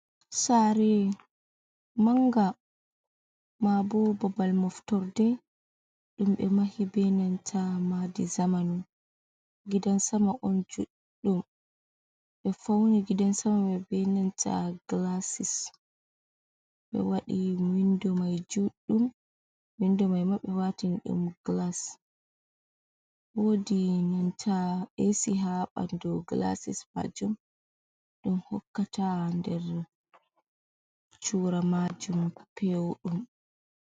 Sare manga mabo babal moftorde, ɗum ɓe mahi benanta madi zamanu gidansama on judɗum ɓe fauni gidansama mai benanta gilasis, ɓe waɗi windo mai juɗum windo mai ma ɓe watin ɗum gilas, wodi nanta esi ha bandu gilasis majum ɗum hokkata nder chura majum pewɗum.